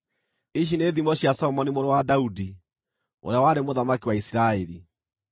Ici nĩ thimo cia Solomoni mũrũ wa Daudi, ũrĩa warĩ mũthamaki wa Isiraeli: